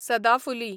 सदाफुली